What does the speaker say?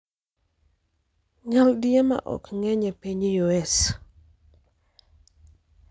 Nyadielma ok ng'eny e piny US